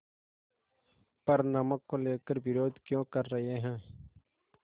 पर नमक को लेकर विरोध क्यों कर रहे हैं